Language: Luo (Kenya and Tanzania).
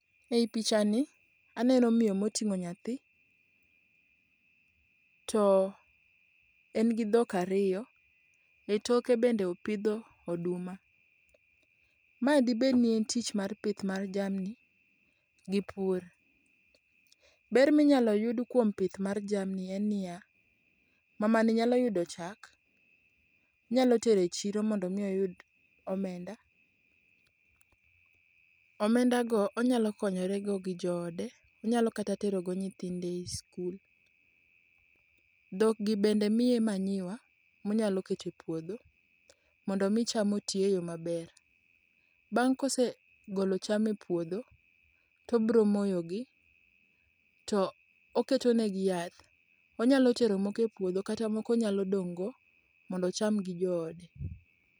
E i pichani aneno miyo moting'o nyathi, to en gi dhok ariyo e toke bende opidho oduma. Mae dibedni en tich mar pith mar jamni gi pur. Ber minyalo yud kuom pith mar jamni en niya, mamani nyalo yudo chak, onyalo tero e chiro mondo omi oyud omenda. Omendago onyalo konyorego gi joode, onyalo kata terogo nyithinde i skul. Dhokgi bende miye manyiwa monyalo keto e puodho mondo omi cham oti e yo maber. Bang' kosegolo cham e puodho tobromoyogi to oketonegi yath. Onyalo tero moko e puodho kata moko onyalo dong'go mondo ocham gi joode.